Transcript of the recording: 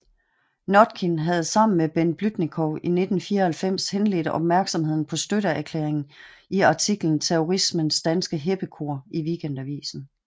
Notkin havde sammen med Bent Blüdnikow i 1994 henledt opmærksomheden på støtteerklæringen i artiklen Terrorismens danske heppekor i Weekendavisen